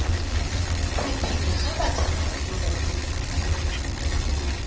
re pele ba tsena kgolegong